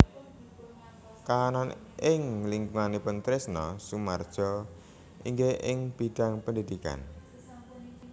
Kahanan ing lingkunganipun Trisno Soemardjo inggih ing bidhang pendhidhikan